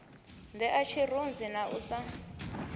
nṋea tshirunzi na u sa